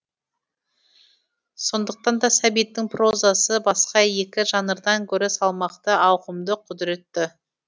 сондықтан да сәбиттің прозасы басқа екі жанрдан гөрі салмақты ауқымды құдыретті